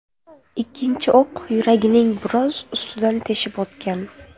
Ikkinchi o‘q yuragining biroz ustidan teshib o‘tgan.